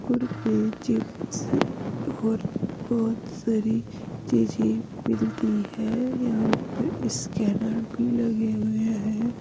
Chips और बहोत सारी चीजे मिलती हैं यहां पर स्कैनर भी लगे हुए हैं।